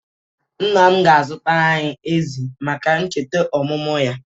Nna m ga-azụtara anyị ezi maka ncheta omụmụ ya.